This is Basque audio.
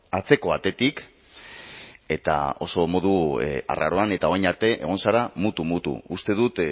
atzeko atetik eta oso modu arraroan eta orain arte egon zara mutu mutu uste dut